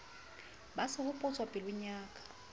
ba sehopotso pelong ya ka